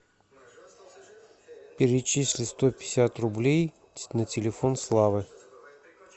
перечисли сто пятьдесят рублей на телефон славы